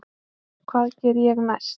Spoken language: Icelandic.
Hvað geri ég næst?